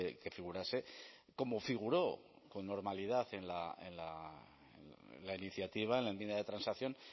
que figurase como figuró con normalidad en la iniciativa en la enmienda de transacción